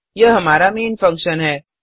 यह हमारा main function है